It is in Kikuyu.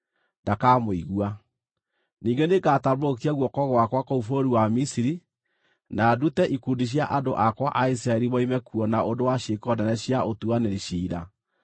ndakamũigua. Ningĩ nĩngatambũrũkia guoko gwakwa kũu bũrũri wa Misiri, na ndute ikundi cia andũ akwa a Isiraeli moime kuo na ũndũ wa ciĩko nene cia ũtuanĩri ciira.